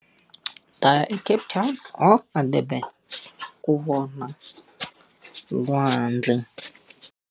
Ni ta ya eCape Town or eDurban ku vona lwandle.